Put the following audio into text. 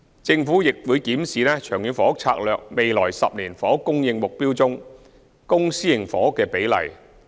政府亦會檢視《長遠房屋策略》未來10年房屋供應目標中的公私營房屋新供應比例。